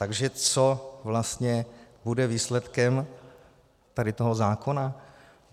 Takže co vlastně bude výsledkem tady toho zákona?